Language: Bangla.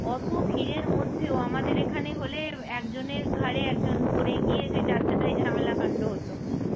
অত ভীড়ের মধ্যেও আমাদের এখানে হলে একজনের ঘাড়ে একজন পড়ে গিয়ে যে যাচ্ছে তাই ঝামেলা কান্ড হত।